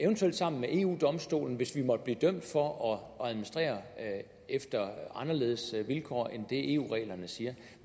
sammen med eu domstolen hvis vi måtte blive dømt for at administrere efter anderledes vilkår end det eu reglerne siger